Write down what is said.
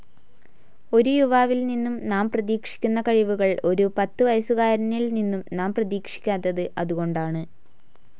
ഒരു യുവാവിൽനിന്നും നാം പ്രതീക്ഷിക്കുന്ന കഴിവുകൾ ഒരു പത്തുവയസ്സുകാരനിൽനിന്നും നാം പ്രതിക്ഷിക്കാത്തത് അതുകൊണ്ടാണ്.